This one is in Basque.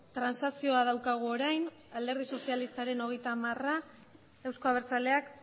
transakzioa daukagu orain alderdi sozialistaren hogeita hamara eusko abertzaleak